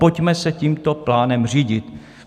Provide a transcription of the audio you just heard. Pojďme se tímto plánem řídit.